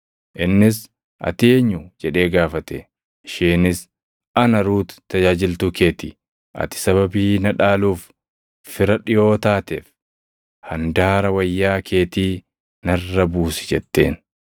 Innis, “Ati eenyu?” jedhee gaafate. Isheenis, “Ana Ruut tajaajiltuu kee ti. Ati sababii na dhaaluuf fira dhiʼoo taateef handaara wayyaa keetii narra buusi” jetteen.